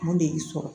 Mun de y'i sɔrɔ